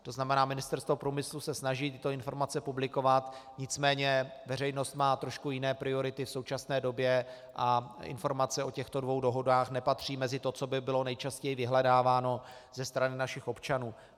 To znamená, Ministerstvo průmyslu se snaží tyto informace publikovat, nicméně veřejnost má trošku jiné priority v současné době a informace o těchto dvou dohodách nepatří mezi to, co by bylo nejčastěji vyhledáváno ze strany našich občanů.